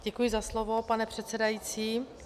Děkuji za slovo, pane předsedající.